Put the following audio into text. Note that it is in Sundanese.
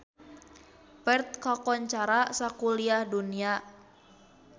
Perth kakoncara sakuliah dunya